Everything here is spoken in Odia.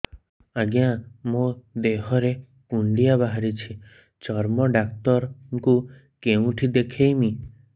ଆଜ୍ଞା ମୋ ଦେହ ରେ କୁଣ୍ଡିଆ ବାହାରିଛି ଚର୍ମ ଡାକ୍ତର ଙ୍କୁ କେଉଁଠି ଦେଖେଇମି